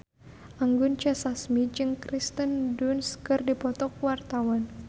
Anggun C. Sasmi jeung Kirsten Dunst keur dipoto ku wartawan